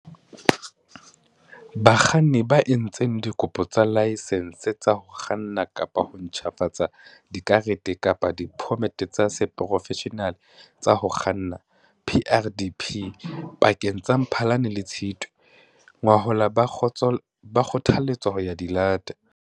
Bakganni ba entseng dikopo tsa dilaesense tsa ho kganna kapa ho ntjhafatsa dikarete kapa diphomete tsa seporofeshenale tsa ho kganna, PrDP, pakeng tsa Mphalane le Tshitwe ngwahola ba kgothaletswa ho ya di lata.